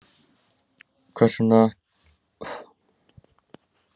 Hvers vegna getur hann ekki skilið sýningu mína?